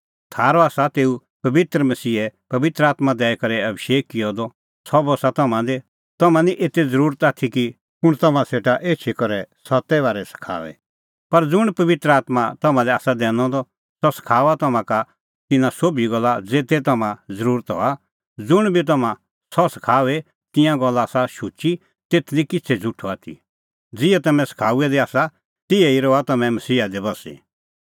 थारअ आसा तेऊ पबित्र मसीहे पबित्र आत्मां दैई करै अभिषेक किअ द सह बस्सा तम्हां दी तम्हां निं एते ज़रुरत आथी कि कुंण तम्हां सेटा एछी करै सत्ते बारै सखाओए पर ज़ुंण पबित्र आत्मां तम्हां लै आसा दैनअ द सह सखाऊआ तम्हां का तिन्नां सोभी गल्ला ज़ेते तम्हां ज़रुरत हआ ज़ुंण बी तम्हां सह सखाओए तिंयां गल्ला आसा शुची तेथ निं किछ़ै झ़ुठअ आथी ज़िहै तम्हैं तेऊ सखाऊऐ दै आसा तिहै ई रहा तम्हैं मसीहा दी बस्सी